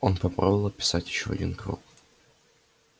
он попробовал описать ещё один круг